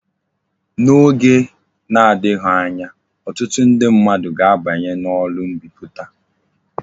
N'oge na-adighi anya, otutu ndi mmadu ga abanyi na oru mbiputa